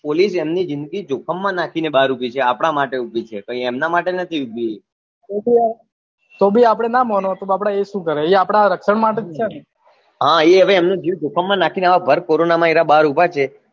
police એમની જિંદગી જોખમ માં નાખી ને બાર ઉભી છે ને આપના માટે ઉભી છે કઈ એમના માટે નથી ઉભી એ તોભી આપને ના માનો તો એ બાપડા શું કરે એ આપના રક્શન માટે જ છે ને એ હવે એમનો જીવ જોખમ માં નાખી ને આવા ભર corona બાર ઉભા છે